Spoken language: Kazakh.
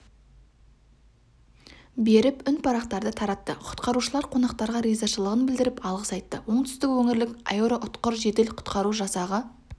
беріп үнпарақтарды таратты құтқарушылар қонақтарға ризашылығын білдіріп алғыс айтты оңтүстік өңірлік аэроұтқыр жедел құтқару жасағы